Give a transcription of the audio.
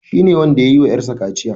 Shi ne wanda yayi wa ƴar sa kaciya.